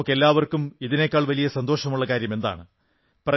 നമുക്കെല്ലാം ഇതിനേക്കാൾ വലിയ സന്തോഷമുള്ള കാര്യമെന്താണ്